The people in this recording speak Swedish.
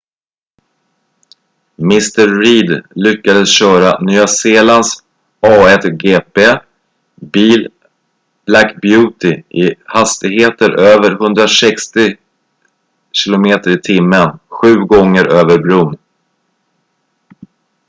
mr reid lyckades köra nya zeelands a1gp bil black beauty i hastigheter över 160 km/t sju gånger över bron